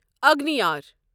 اگنیار